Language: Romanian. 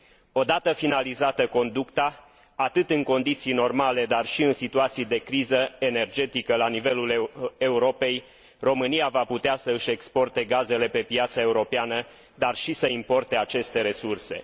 Odată finalizată conducta, atât în condiții normale, dar și în situații de criză energetică la nivelul Europei, România va putea să și exporte gazele pe piața europeană, dar și să importe aceste resurse.